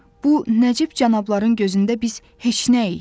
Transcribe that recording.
Bu nəcib cənabların gözündə biz heçnəyik.